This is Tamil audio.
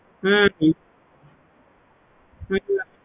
ஹம் ஹம்